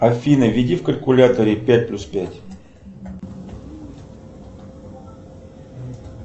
афина введи в калькуляторе пять плюс пять